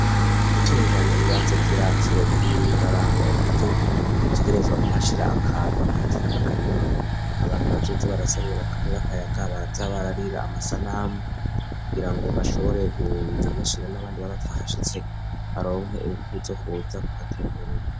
Gutunganya ibibanza vy'iratiro, uraraba uburyo utegerezwa kuhashira akantu kameze nk'akarima, abantu bazoza barasamiramwo akayaga, barafatiramwo amasanamu, kugira bashobore kuyashira n'abandi baba batahashitse, baronke inguvu zo kuza kuhatemberera.